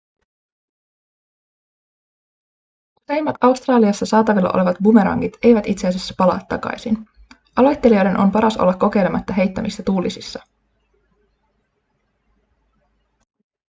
useimmat australiassa saatavilla olevat bumerangit eivät itse asiassa palaa takaisin aloittelijoiden on paras olla kokeilematta heittämistä tuulisissa